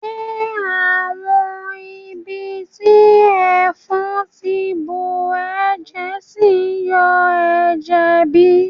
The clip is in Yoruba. Ṣe àwọn ibiti ẹfọn ti bùọjẹ ṣìn yọ ẹ́jẹ́ bi?